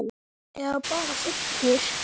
Eða bara fullur.